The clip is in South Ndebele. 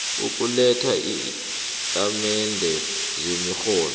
ukuletha iintatimende zemirholo